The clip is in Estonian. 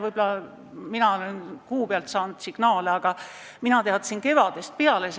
Võib-olla mina olen saanud kuu pealt signaale, aga mina teadsin seda juba kevadel.